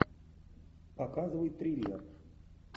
показывай триллер